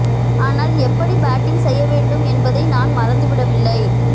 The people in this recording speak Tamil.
ஆனால் எப்படி பேட்டிங் செய்ய வேண்டும் என்பதை நான் மறந்து விடவில்லை